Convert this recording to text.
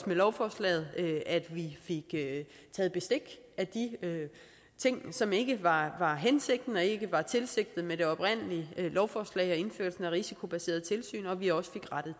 med lovforslaget at vi fik taget bestik af de ting som ikke var hensigten og ikke var tilsigtet med det oprindelige lovforslag og indførelsen af risikobaserede tilsyn og at vi også